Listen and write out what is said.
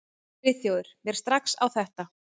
Friðþjófur mér strax á þetta.